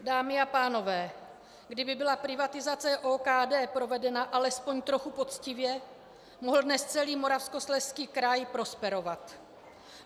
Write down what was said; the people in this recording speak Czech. Dámy a pánové, kdyby byla privatizace OKD provedena alespoň trochu poctivě, mohl dnes celý Moravskoslezský kraj prosperovat.